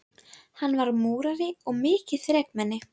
Og hvernig heldurðu að sú sumarbústaðarferð hafi endað?